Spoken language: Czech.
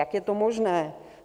Jak je to možné?